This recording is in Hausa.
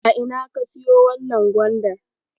A ina ka siyo wannan gwandar?